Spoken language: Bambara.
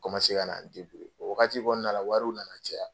kana n . O wagati kɔɔna la wariw nana caya.